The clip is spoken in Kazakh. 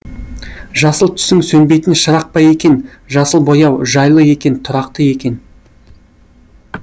жасыл түсің сөнбейтін шырақ па екен жасыл бояу жайлы екен тұрақты екен